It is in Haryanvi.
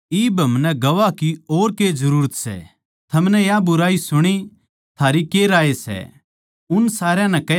थमनै या बुराई सुणी थारी के राय सै उन सारया नै कह्या के यो मारण कै जोग्गा सै